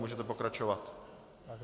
Můžete pokračovat.